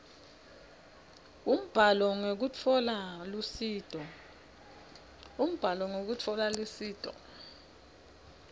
umbhalo ngekutfola lusito